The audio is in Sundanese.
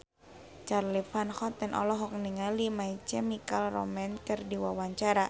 Charly Van Houten olohok ningali My Chemical Romance keur diwawancara